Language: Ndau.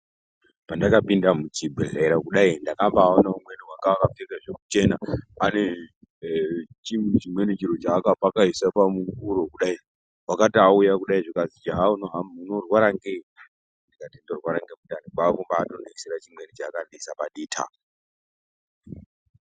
Pandakapinda muchibhedhleya kudai ndakambaona umweni wanga akapfeka zvekuchena ane chimweni chiro chaakapakaisa pahuro kudai wakati auya kudai zvikazi unorwara ngei ndikati mdinorwara nemundani kwaakutombandiisira chimweni chaakandiisa paditi apa.